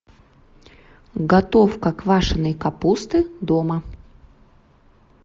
готовка квашеной капусты дома